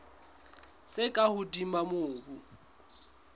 tse ka hodimo tsa mobu